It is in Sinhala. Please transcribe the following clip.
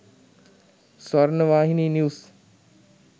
swarnawahini news